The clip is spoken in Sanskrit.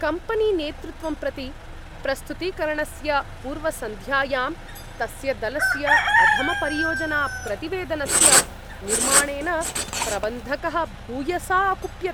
कम्पनीनेतृत्वं प्रति प्रस्तुतीकरणस्य पूर्वसन्ध्यायां तस्य दलस्य अधमपरियोजनाप्रतिवेदनस्य निर्माणेन प्रबन्धकः भूयसा अकुप्यत्।